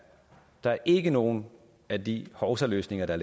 der er ikke nogen af de hovsaløsninger der